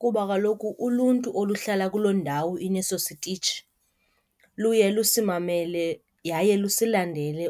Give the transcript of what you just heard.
Kuba kaloku uluntu oluhlala kuloo ndawo ineso sitshi luye lusimamele yaye lusilandele